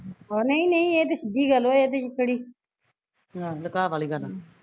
ਨਹੀਂ ਨਹੀਂ ਏਹ ਤੇ ਸਿੱਧੀ ਗੱਲ ਵਾ ਇਹਦੇ ਚ ਕਿਹੜੀ